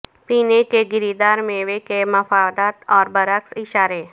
پینے کے گری دار میوے کے مفادات اور برعکس اشارے